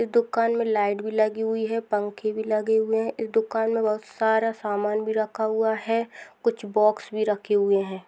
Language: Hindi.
दुकान मे लाइट भी लगी हुई है पंखे भी लगे हुए है दुकान मे बहुत सारा सामान भी रखा हुआ है कुछ बॉक्स भी रखे हुए है।